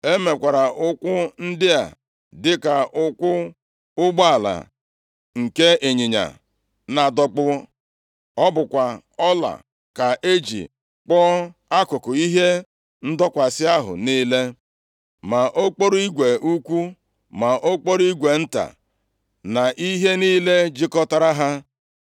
E mekwara ụkwụ ndị a dịka ụkwụ ụgbọala nke ịnyịnya na-adọkpụ. Ọ bụkwa ọla ka e ji kpụọ akụkụ ihe ndọkwasị ahụ niile, ma okporo igwe ukwu, ma okporo igwe nta, na ihe niile jikọtara ha.